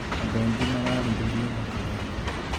Andũ aingĩ mararĩrĩria ũthaka wake.